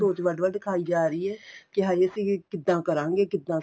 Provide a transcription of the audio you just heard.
ਸੋਚ ਵੱਡ ਵੱਡ ਖਾਈ ਜਾ ਰਹੀ ਏ ਕੀ ਹਾਈ ਅਸੀਂ ਕਿੱਦਾਂ ਕਰਾਂਗੇ ਕਿੱਦਾਂ